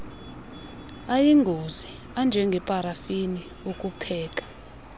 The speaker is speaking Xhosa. ayingozi anjengeparafini ukupheka